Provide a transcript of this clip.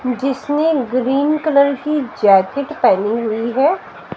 जिसने green colour की jacket पैहनी हुई है।